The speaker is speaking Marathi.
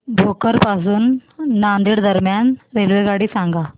भोकर पासून नांदेड दरम्यान रेल्वेगाडी सांगा